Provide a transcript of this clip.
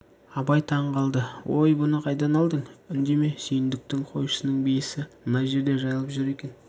абай таң қалды ой бұны қайдан алдың үндеме сүйіндіктің қойшысының биесі мына жерде жайылып жүр екен